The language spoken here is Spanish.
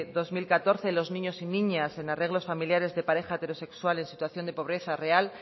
dos mil catorce los niños y niñas en arreglos familiares de pareja heterosexual en situación de pobreza real